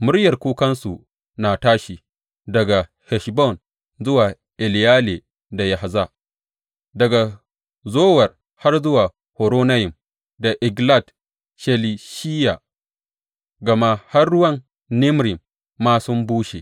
Muryar kukansu na tashi daga Heshbon zuwa Eleyale da Yahaz, daga Zowar har zuwa Horonayim da Eglat Shelishiya, gama har ruwan Nimrim ma sun bushe.